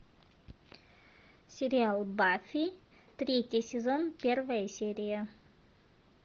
сериал баффи третий сезон первая серия